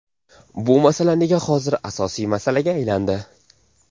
Bu masala nega hozir asosiy masalaga aylandi?